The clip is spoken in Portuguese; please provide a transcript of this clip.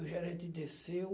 E o gerente desceu.